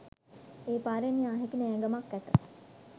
ඒ පාරෙන් යා හැකි නෑගමක් ඇත